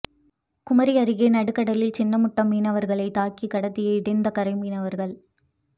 குமரி அருகே நடுக்கடலில் சின்னமுட்டம் மீனவர்களை தாக்கி கடத்திய இடிந்தகரை மீனவர்கள்